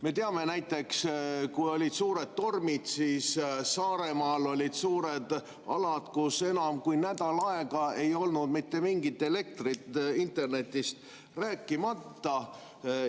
Me teame näiteks, et kui olid suured tormid, siis Saaremaal olid suured alad, kus enam kui nädal aega ei olnud mitte mingit elektrit, internetist rääkimata.